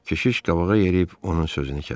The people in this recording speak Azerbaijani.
Keşiş qabağa yeriyib onun sözünü kəsdi.